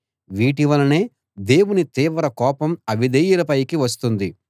వీటి వలనే దేవుని తీవ్ర కోపం అవిధేయుల పైకి వస్తుంది